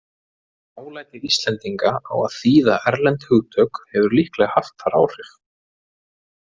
Dálæti Íslendinga á að þýða erlend hugtök hefur líklega haft þar áhrif.